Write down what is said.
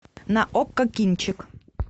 на окко кинчик